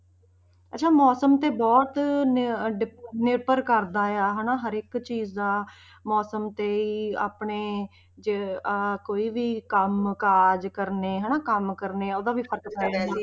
ਅੱਛਾ ਮੌਸਮ ਤੇ ਬਹੁਤ ਨ~ ਡਿਪ~ ਨਿਰਭਰ ਕਰਦਾ ਆ ਹਨਾ ਹਰੇਕ ਚੀਜ਼ ਦਾ ਮੌਸਮ ਤੇ ਹੀ ਆਪਣੇ, ਜੇ ਆਹ ਕੋਈ ਵੀ ਕੰਮ ਕਾਜ ਕਰਨੇ ਹਨਾ ਕੰਮ ਕਰਨੇ ਉਹਦਾ ਵੀ ਫ਼ਰਕ ਪੈ ਜਾਂਦਾ